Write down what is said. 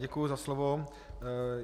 Děkuji za slovo.